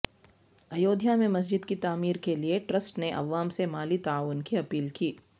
ایودھیا میں مسجد کی تعمیر کےلیے ٹرسٹ نے عوام سے مالی تعاون کی اپیل کی